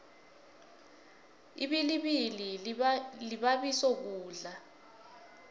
ibilibili libabiso ukudla